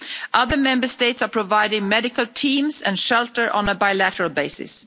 Other Member States are providing medical teams and shelter on a bilateral basis.